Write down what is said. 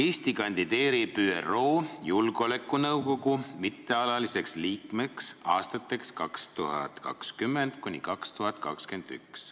Eesti kandideerib ÜRO Julgeolekunõukogu mittealaliseks liikmeks aastateks 2020–2021.